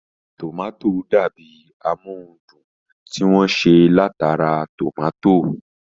Tòmátò dàbi amóhundùn tí wọ́n ṣe látara tòmátò